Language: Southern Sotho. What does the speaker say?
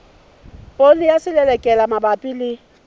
poone ya selelekela mabapi le